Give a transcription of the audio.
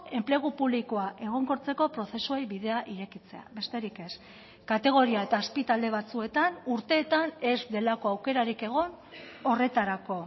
enplegu publikoa egonkortzeko prozesuei bidea irekitzea besterik ez kategoria eta azpitalde batzuetan urteetan ez delako aukerarik egon horretarako